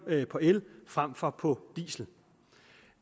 på el frem for på diesel